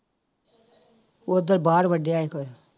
ਉੱਧਰ ਬਾਹਰ ਵੱਢਿਆ ਸੀ